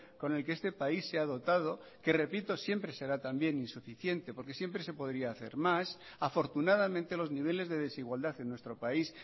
con el que este país se ha dotado que repito siempre será también insuficiente porque siempre se podría hacer más afortunadamente los niveles de desigualdad en nuestro país